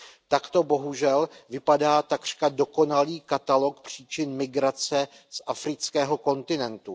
Takto bohužel vypadá takřka dokonalý katalog příčin migrace z afrického kontinentu.